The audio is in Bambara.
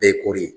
Bɛɛ ye kori ye